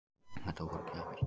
Þetta voru gjafir.